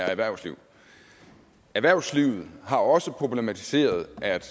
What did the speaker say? erhvervsliv erhvervslivet har også problematiseret at det